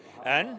en